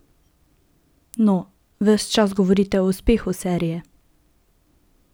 No, ves čas govorite o uspehu serije.